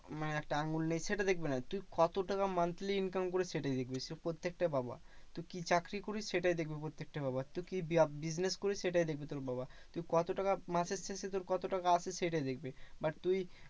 মানে একটা আঙ্গুল নেই সেটা দেখবে না। তুই কত টাকা monthly income করিস? সেটাই দেখবে। সে প্রত্যেকটা বাবা। তুই কি চাকরি করিস? সেটাই দেখবে প্রত্যেকটা বাবা। তুই কি business করিস? সেটাই দেখবে তোর বাবা। তুই কত টাকা মাসের শেষে তোর কত টাকা আসে? সেটাই দেখবে। but তুই